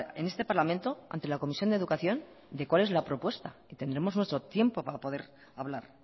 en este parlamento ante la comisión de educación de cuál es la propuesta y tendremos nuestro tiempo para poder hablar